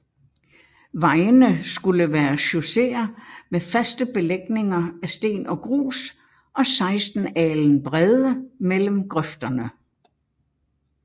Vejene skulle være chausséer med faste belægninger af sten og grus og 16 alen brede mellem grøfterne